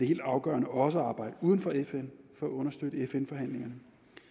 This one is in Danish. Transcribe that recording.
helt afgørende også at arbejde uden for fn for at understøtte fn forhandlingerne